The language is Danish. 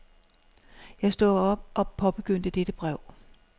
Jeg stod op og påbegyndte dette brev.